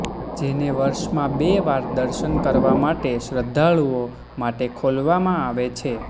જેને વર્ષમાં બે વાર દર્શન કરવાં માટે શ્રધાળુઓ માટે ખોલવામાં આવે છે